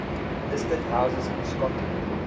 listed houses in scotland